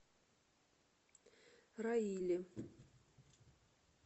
раиле